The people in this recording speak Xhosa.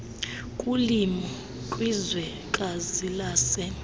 kulimo kwizwekazi lase